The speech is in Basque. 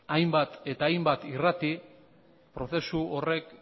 hainbat eta hainbat irrati prozesu horrek